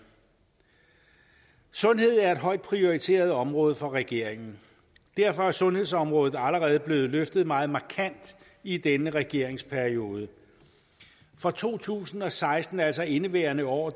sundhed er et højt prioriteret område for regeringen derfor er sundhedsområdet allerede blevet løftet meget markant i denne regeringsperiode for to tusind og seksten altså indeværende år